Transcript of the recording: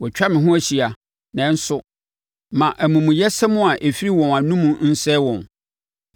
Wɔatwa me ho ahyia, nanso, ma amumuyɛsɛm a ɛfiri wɔn anomu nsɛe wɔn.